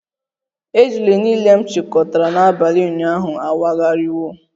Ejula niile m chịkọtara n'abalị ụnyaahụ awagharịwo